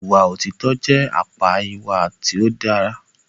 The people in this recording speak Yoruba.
Ìwà òtítọ jẹ àpá ìwà tí o dá.